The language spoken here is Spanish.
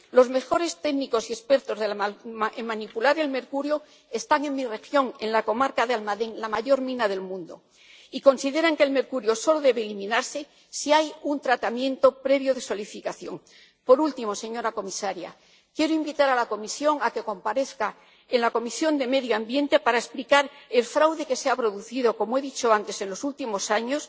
Los mejores técnicos y expertos en manipular el mercurio están en mi región, en la comarca de Almadén, la mayor mina del mundo, y consideran que el mercurio solo debe eliminarse si hay un tratamiento previo de solidificación. Por último, señora comisaria, quiero invitar a la Comisión a que comparezca en la Comisión de Medio Ambiente para explicar el fraude que se ha producido, como he dicho antes, en los últimos años